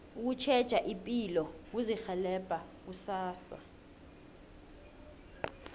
ukutjheja ipilo kuzirhelebha kusasa